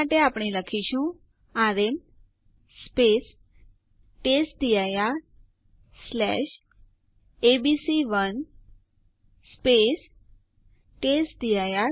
આ માટે આપણે યુઝરડેલ આદેશ વાપરીશું